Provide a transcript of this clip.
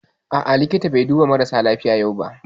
A'a, likita bai duba marasa lafiya yau ba